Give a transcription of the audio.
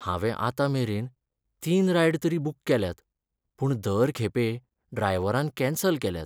हांवें आतां मेरेन तीन रायड तरी बूक केल्यात, पूण दर खेपे ड्रायव्हरान कॅन्सल केल्यात.